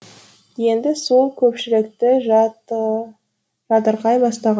енді сол көпшілікті жатырқай бастаған